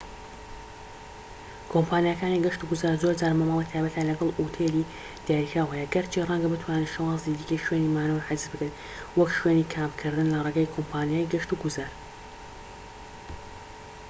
کۆمپانیاکانی گەشت و گوزار زۆرجار مامەڵەی تایبەتیان لەگەڵ ئوتێلی دیاریکراو هەیە گەرچی ڕەنگە بتوانیت شێوازی دیکەی شوێنی مانەوە حجز بکەیت وەک شوێنی کامپکردن لە ڕێگەی کۆمپانیای گەشت و گوزار